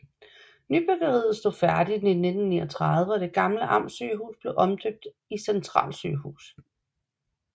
Nybyggeriet stod færdig i 1939 og det gamle Amtssygehus blev omdøbt i Centralsygehus